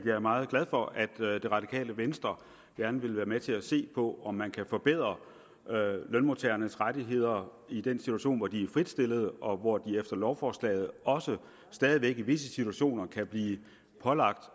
er meget glad for at det radikale venstre gerne vil være med til at se på om man kan forbedre lønmodtagernes rettigheder i den situation hvor de er fritstillede og hvor de efter lovforslaget også stadig væk i visse situationer kan blive pålagt